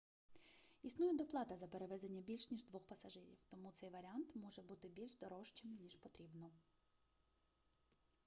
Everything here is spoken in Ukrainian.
існує доплата за перевезення більш ніж 2 пасажирів тому цей варіант може бути більш дорожчим ніж потрібно